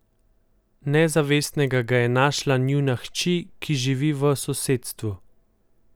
Nezavestnega ga je našla njuna hči, ki živi v sosedstvu.